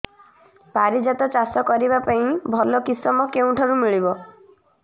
ପାରିଜାତ ଚାଷ କରିବା ପାଇଁ ଭଲ କିଶମ କେଉଁଠାରୁ ମିଳିବ